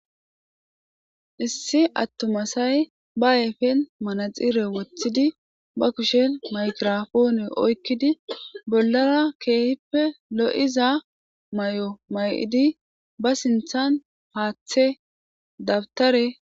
Issi atuma asay be ayfen manaxire wothidi be kushen maygirapone oykidi bollara keehippe lo'iza mayo mayidi ba sinthan, haathe, dawutare ...